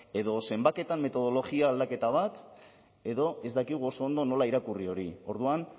edo zenbaketan metodologia aldaketa bat edo ez dakigu oso ondo nola irakurri hori orduan